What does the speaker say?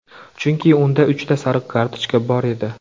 Chunki unda uchta sariq kartochka bor edi.